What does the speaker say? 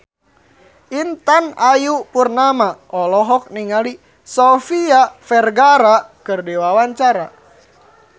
Intan Ayu Purnama olohok ningali Sofia Vergara keur diwawancara